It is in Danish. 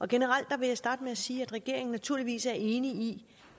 generelt vil jeg starte med at sige at regeringen naturligvis er enig i